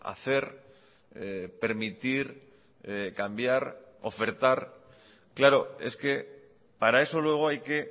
hacer permitir cambiar ofertar claro es que para eso luego hay que